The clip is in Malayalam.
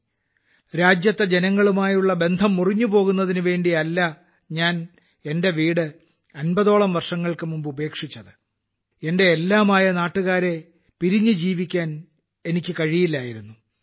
അൻപത് വർഷം മുമ്പ് ഞാൻ രാജ്യത്തെ ജനങ്ങളുമായുള്ള ബന്ധം മുറിഞ്ഞുപോകുന്നതിനുവേണ്ടിയല്ല ഞാൻ എന്റെ വീട് അൻപതോളം വർഷങ്ങൾക്കു മുമ്പ് ഉപേക്ഷിച്ചത് എന്റെ എല്ലാമായ നാട്ടുകാരെ അവരെ പിരിഞ്ഞ് ജീവിക്കാൻ എനിക്ക് കഴിയില്ലായിരുന്നു